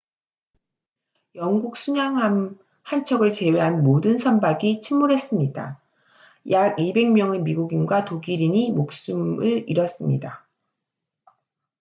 영국 순양함 한 척을 제외한 모든 선박이 침몰했습니다 약 200명의 미국인과 독일인이 목숨을 잃었습니다